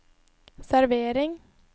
servering